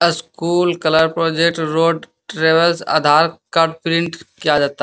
school colour project road travels Aadhaar card print किया जाता --